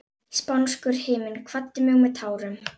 Spánskur himinn kvaddi mig með tárum.